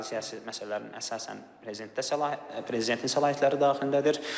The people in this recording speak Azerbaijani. Fransa siyasi məsələlərinin əsasən prezidentdə prezidentin səlahiyyətləri daxilindədir.